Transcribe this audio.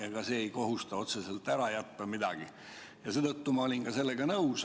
Ega see ei kohusta otseselt midagi ära jätma ja seetõttu olin ma sellega nõus.